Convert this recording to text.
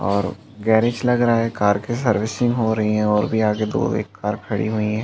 और गैरेज लग रहा है कार के सर्विसिंग हो रही है और भी आगे दो एक कार खड़ी हुई है।